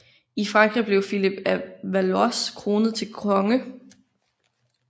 I Frankrig blev Filip af Valois kronet til konge